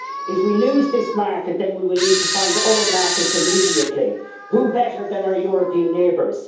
If we lose this market, then we will need to find other markets immediately. Who better than our European neighbours?